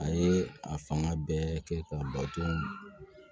A ye a fanga bɛɛ kɛ k'a bato